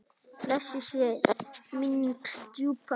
Blessuð sé minning stjúpu minnar.